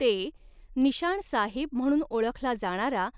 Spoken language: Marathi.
ते, निशाण साहिब म्हणून ओळखला जाणारा